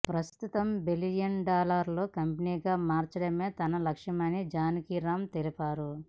ప్రస్తుతం బిలియన్ డాలర్ల కంపెనీగా మార్చడమే తన లక్ష్యమని జానకీ రామన్ తెలిపారు